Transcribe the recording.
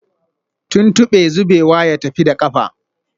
Tuntube zubewa ya tafi da kafa